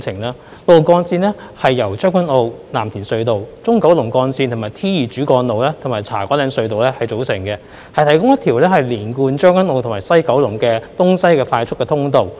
六號幹線是由將軍澳—藍田隧道、中九龍幹線、T2 主幹路及茶果嶺隧道組成，提供一條貫通將軍澳和西九龍的東西快速通道。